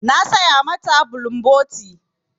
Na saya ma ta bulumboti.